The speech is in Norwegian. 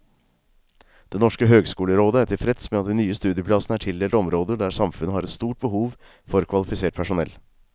Det norske høgskolerådet er tilfreds med at de nye studieplassene er tildelt områder der samfunnet har et stort behov for kvalifisert personell.